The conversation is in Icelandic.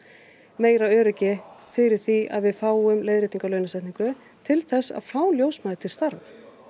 meira öryggi fyrir því að við fáum leiðréttingu á launasetningu til að fá ljósmæður til starfa